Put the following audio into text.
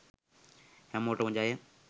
හැමෝටම ජය.